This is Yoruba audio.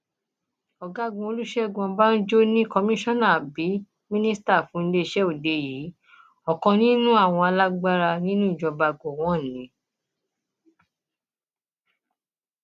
ọgágun olùṣègùn ọbànjọ ní kọmíṣánná àbí mínísítà fún iléeṣẹ òde yìí ọkan nínú àwọn alágbára nínú ìjọba gọwọn ni